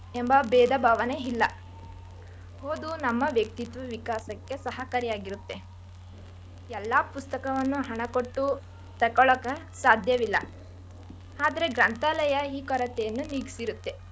ಭೇದ ಭಾವನೇ ಇಲ್ಲ ಓದು ನಮ್ಮ ವಕ್ತಿತ್ವ ವಿಕಾಸಕ್ಕೆ ಸಹಕಾರಿ ಆಗಿರುತ್ತೆ ಎಲ್ಲ ಪುಸ್ತಕವನ್ನು ಹಣ ಕೊಟ್ಟು ತಗೋಳಕ ಸಾಧ್ಯವಿಲ್ಲಾ. ಆದ್ರೆ ಗ್ರಂಥಾಲಯ ಈ ಕೊರತೆಯನ್ನು ನಿಗ್ಸಿರುತ್ತೆ.